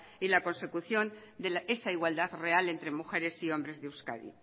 y la consecución de esa igualdad real entre mujeres y hombres de euskadi